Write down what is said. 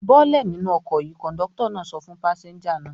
"Bọ́lẹ̀ nínú ọkọ̀ yìí!" Kọ̀ńdọ́tọ̀ náà sọ fún pásẹ́ńjà náà.